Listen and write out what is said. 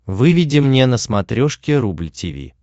выведи мне на смотрешке рубль ти ви